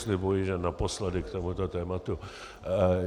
Slibuji, že naposledy k tomuto tématu.